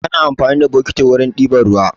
Ana amfani da bokiti wurin ɗiba ruwa.